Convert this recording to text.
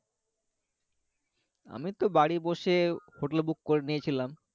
আমি তো বাড়ি বসে hotel, book করে নিয়েছিলাম